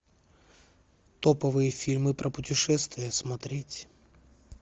топовые фильмы про путешествия смотреть